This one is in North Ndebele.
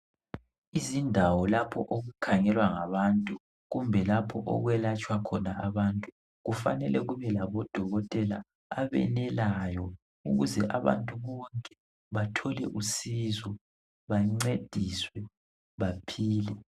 Izindawo lapho okukhangelwa ngabantu kumbe lapho okwelatshwa khona abantu Kufanele kube labodokotela abenelayo ukuze abantu bonke bathole usizo bancediswe, baphile.